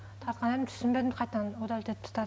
тартқан едім түсінбедім қайтадан удалить етіп тастадым